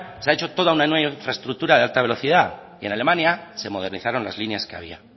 se ha hecho toda una nueva infraestructura de alta velocidad y en alemania se modernizaron las líneas que había